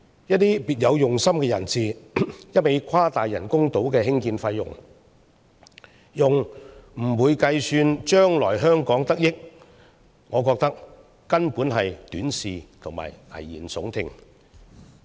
一些別有用心人士，一味誇大人工島的興建費用，而不會計算將來香港得益，我認為根本是短視和危言聳聽。